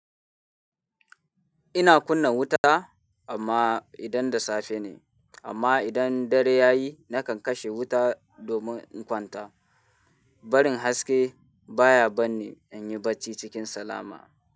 Ina kunna wuta amma idan da safe ne, amma idan dare ya yi nakan kashe wuta domin in kwanta. Barin haske baya bar ni in yi bacci cikin salama.